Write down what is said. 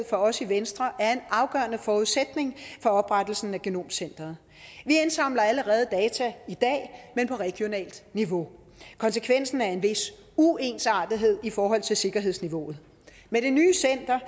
for os i venstre er en afgørende forudsætning for oprettelsen af genomcentret vi indsamler allerede data i dag men på regionalt niveau konsekvensen er en vis uensartethed i forhold til sikkerhedsniveauet med det nye center